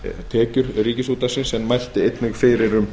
tekjur ríkisútvarpsins en mælti einnig fyrir um